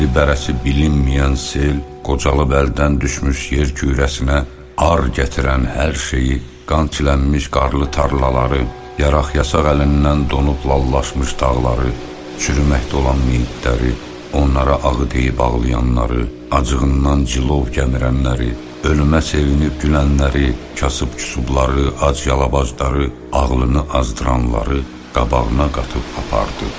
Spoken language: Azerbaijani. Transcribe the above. Bəndi-bərəsi bilinməyən sel qocalıb əldən düşmüş yer kürəsinə ar gətirən hər şeyi, qan çilənmiş qarlı tarlaları, yaraq-yasaq əlindən donub lallaşmış dağları, çürüməkdə olan miyitləri, onlara ağı deyib ağlayanları, acığından cilov gəmirənləri, ölümə sevinib gülənləri, kasıb-küsubları, ac-yalabacları, ağlını azdıranları qabağına qatıb apardı.